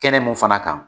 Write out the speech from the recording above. Kɛnɛ mun fana kan